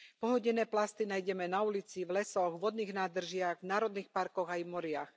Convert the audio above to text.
Pohodené plasty nájdeme na ulici, v lesoch, vodných nádržiach, v národných parkoch aj v moriach.